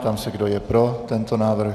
Ptám se, kdo je pro tento návrh.